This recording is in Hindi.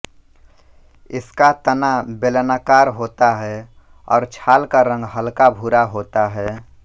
इसका तना बेलनाकार होता है और छाल का रंग हलकाभूरा होता है